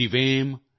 ਸ਼ਤਮ੍